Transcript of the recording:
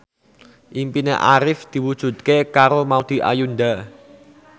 impine Arif diwujudke karo Maudy Ayunda